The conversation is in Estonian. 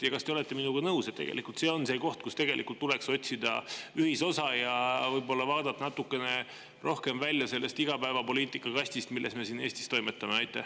Ja kas te olete minuga nõus, et tegelikult see on, mille puhul tuleks otsida ühisosa ja vaadata natukene rohkem välja sellest igapäevapoliitika kastist, milles me siin Eestis toimetame?